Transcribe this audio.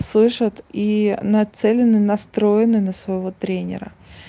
слышат и нацелены настроены на своего тренера